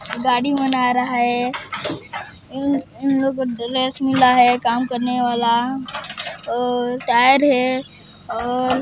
गाड़ी बना रहा है इन इन लोगो ड्रेस मिला है काम करनेवाला और टायर है और--